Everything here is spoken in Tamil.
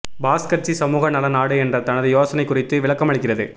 பாஸ் கட்சி சமூக நல நாடு என்ற தனது யோசனை குறித்து விளக்கமளிக்கிறது